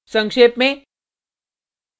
संक्षेप में